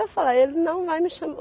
Eu falava, ele não vai me chamar.